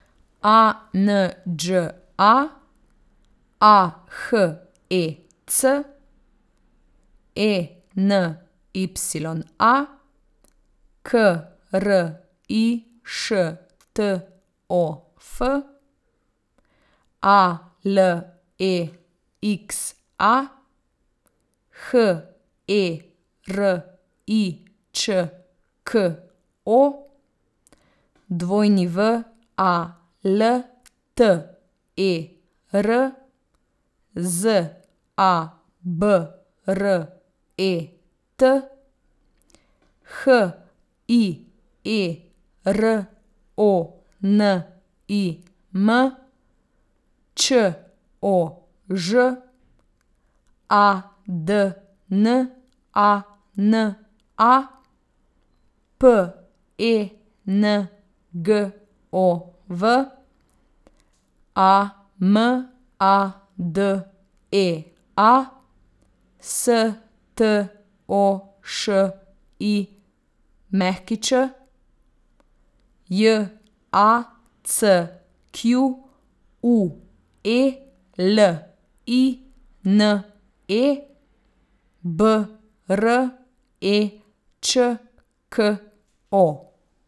A N Đ A, A H E C; E N Y A, K R I Š T O F; A L E X A, H E R I Č K O; W A L T E R, Z A B R E T; H I E R O N I M, Č O Ž; A D N A N A, P E N G O V; A M A D E A, S T O Š I Ć; J A C Q U E L I N E, B R E Č K O.